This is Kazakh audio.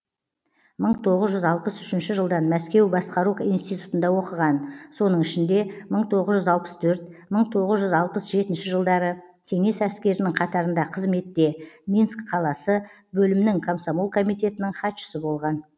мың тоғыз жүз алпыс үшінші жылдан мәскеу басқару институтында оқыған соның ішінде мың тоғыз жүз алпыс төрт мың тоғыз жүз алпыс жетінші жылдары кеңес әскерінің қатарында қызметте минск қаласы бөлімнің комсомол комитетінің хатшысы болған